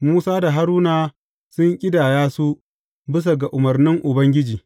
Musa da Haruna sun ƙidaya su bisa ga umarnin Ubangiji.